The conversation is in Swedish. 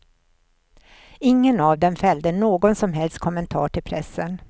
Ingen av dem fällde någon som helst kommentar till pressen.